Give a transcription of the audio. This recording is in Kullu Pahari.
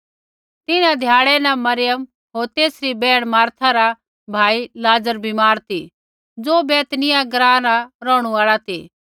तिन्हां ध्याड़ै न मरियम होर तेसरी बैहण मार्था रा भाई लाज़र बीमार ती ज़ो बैतनिय्याह ग्राँ रा रौहणु आल़ा ती